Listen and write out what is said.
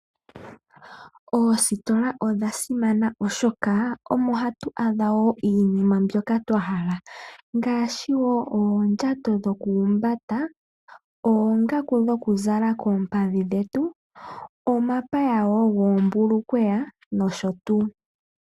Oositola odha simana oshoka omo hatu adha woo iinima mbyoka twahala ngaashi oondjato dhoku humbata ,oongaku dhokuzala koompadhi dhetu, omapaya goombulukweta nosho tuu.